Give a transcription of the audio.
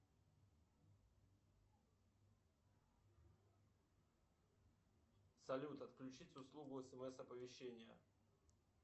салют отключить услугу смс оповещения